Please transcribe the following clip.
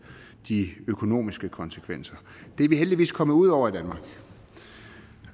de økonomiske konsekvenser det er vi heldigvis kommet ud over